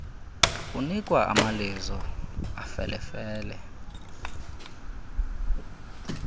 unikwa amalizo afelefele